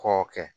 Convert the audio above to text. K'o kɛ